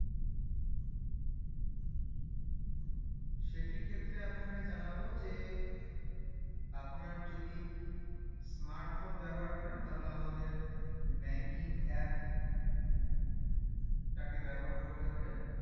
সেটিই ক্ষেত্রে আপনাকে জানাবো যে আপনার যদি smart phone ব্যবহার করেন তাহলে আমাদের banking app টাকে ব্যবহার করতে পারেন